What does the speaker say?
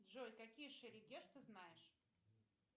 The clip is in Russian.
джой какие шерегеш ты знаешь